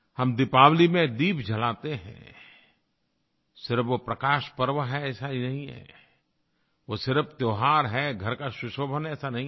हम दीपावली में दीप जलाते हैं सिर्फ़ वो प्रकाशपर्व है ऐसा ही नहीं है वो सिर्फ़ त्योहार है घर का सुशोभन है ऐसा नहीं है